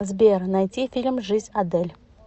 сбер найди фильм жизнь адель